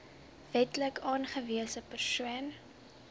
wetlik aangewese persoon